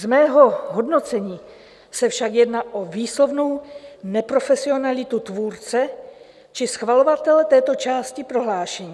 Z mého hodnocení se však jedná o výslovnou neprofesionalitu tvůrce či schvalovatele této části prohlášení.